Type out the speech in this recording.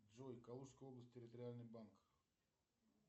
джой калужская область территориальный банк